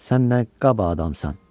"Sən nə qaba adamsan?